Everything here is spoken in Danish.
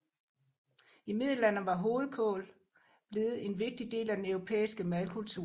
I Middelalderen var hovedkål blevet en vigtig del af den europæiske madkultur